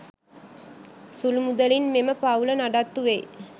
සුළු මුදලින් මෙම පවුල නඩත්තු වෙයි.